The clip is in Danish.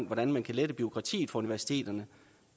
hvordan man kan lette bureaukratiet på universiteterne